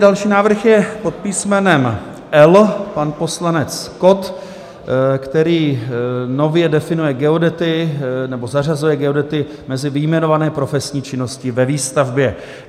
Další návrh je pod písmenem L - pan poslanec Kott, který nově definuje geodety nebo zařazuje geodety mezi vyjmenované profesní činnosti ve výstavbě.